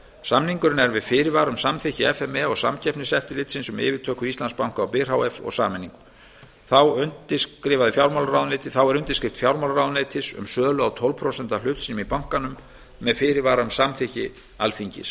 samningurinn er með fyrirvara um samþykki f m e og samkeppniseftirlitsins um yfirtöku íslandsbanka á byr h f og sameiningu þá er undirskrift fjármálaráðuneytis um sölu á tólf prósenta hlut sínum í bankanum með fyrirvara um samþykki alþingis